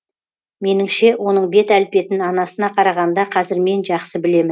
меніңше оның бет әлпетін анасына қарағанда қазір мен жақсы білемін